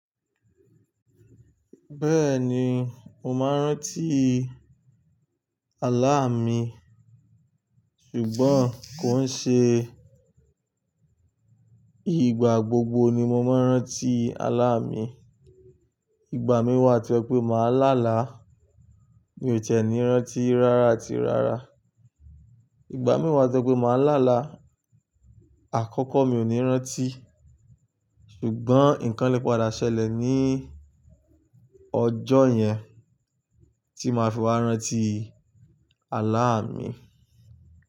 Bẹ́ẹ̀ni, mo máa ń rántí àlá mi, ṣùgbọ́n kò ń ṣe ìgbà gbogbo ni mo máa ń rántí àlá mi. Ìgbà mí wà tí ó jẹ pé màá lá là, mi ò tiẹ́ ni rántí rárá àti rárá. Ìgbà mí wà tí ó jẹ pé màá lá là, àkọ́kọ́ mi ò ní rántí, ṣùgbọ́n nǹkan le padà ṣẹlẹ̀ ní ọjọ́ yẹn tí máa fi máa rántí àlá mi.